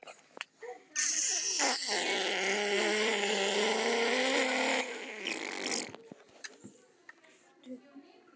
Segðu mér, hvernig hefur skráningin gengið í ár?